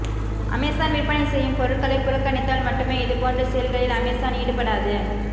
Amazon விற்பனை செய்யும் பொருட்களை புறக்கணித்தால் மட்டுமே இதுபோன்ற செயல்களில் அமேசான் ஈடுபடாது